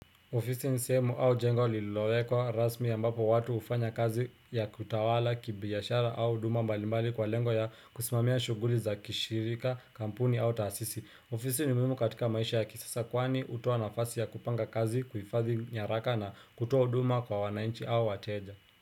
Ofisi ni sehemu au jengo lilowekwa rasmi ambapo watu hufanya kazi ya kutawala, kibiashara au huduma mbalimbali kwa lengo ya kusimamia shughuli za kishirika, kampuni au taasisi. Ofisi ni muhimu katika maisha ya kisasa kwani hutoa nafasi ya kupanga kazi, kufadhi nyaraka na kutoa huduma kwa wanainchi au wateja.